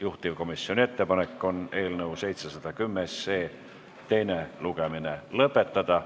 Juhtivkomisjoni ettepanek on eelnõu 710 teine lugemine lõpetada.